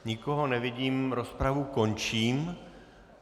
Nikoho nevidím, rozpravu končím.